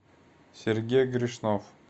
сергей грешнов